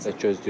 gözləyirik.